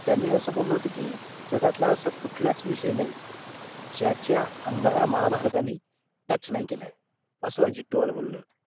त्यांनी असं बोललं होते की जगातला असा कुठलाच विषय नाही ज्याच्याअंगाला महाभारताने touch नाही केलाय असं अजित बोलले होते